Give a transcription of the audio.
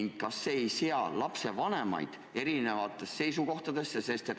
Ja kas see ei sea lapsevanemaid erineva kohtlemise alla?